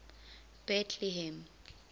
betlehem